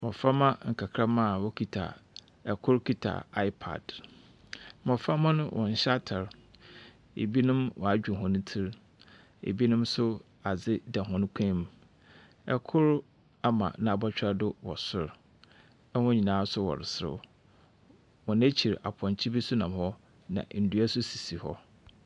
Mboframa nkakrama wokita ɛkor kita aepad mboframa no wɔnnhyɛ atar ibinom woadwow hɔn tsir ibinom so adze da hɔn kɔn mu ɛkor ama nabɔtwɛr do wɔ sor ɛhɔn nyinara so wɔreserew hɔn ekyir apɔnkye bi so nam hɔ na ndua so sisi hɔ.